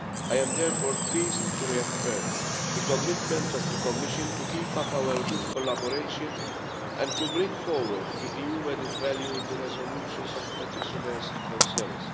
I am therefore pleased to reaffirm the commitment of the Commission to keep up our good collaboration and to bring forward the EU added value in the resolution of petitioners' concerns.